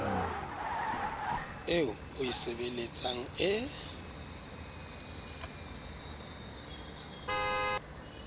eo o e sebeletsang e